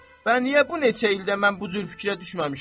Mən niyə bu neçə ildə mən bu cür fikrə düşməmişəm?